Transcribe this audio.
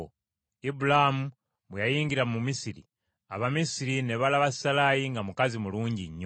Ibulaamu bwe yayingira mu Misiri, Abamisiri ne balaba Salaayi nga mukazi mulungi nnyo.